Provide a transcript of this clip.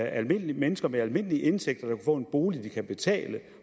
almindelige mennesker med almindelige indtægter der få en bolig de kan betale